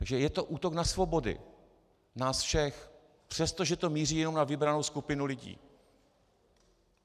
Takže je to útok na svobody nás všech, přestože to míří jenom na vybranou skupinu lidí.